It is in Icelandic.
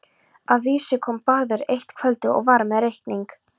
Að vísu kom Bárður eitt kvöldið og var með reikning.